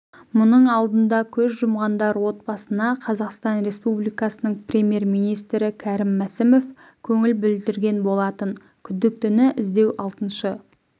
мұның алдында көз жұмғандар отбасына қазақстан республикасының премьер-министрі кәрім мәсімов көңіл білдірген болатын күдіктіні іздеу алтыншы